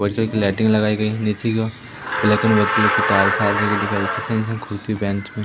white colour की lighting लगाई गई है ब्लैक एंड व्हाइट कलर --